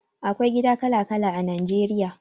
Akwai gida kala kala a Nigeria